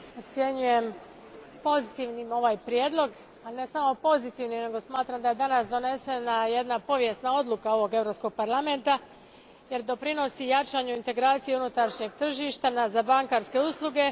Gospodine predsjedniče, ocijenjujem pozitivnim ovaj prijedlog, a ne samo pozitivnim. nego smatram da je danas donesena jedna povijesna odluka ovog Europskog parlamenta, jer doprinosi jačanju integracije unutarnjeg tržišta za bankarske usluge.